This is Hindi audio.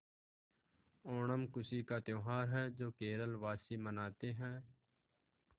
ओणम खुशी का त्यौहार है जो केरल वासी मनाते हैं